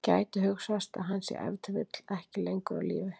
Gæti hugsast að hann sé ef til vill ekki lengur á lífi?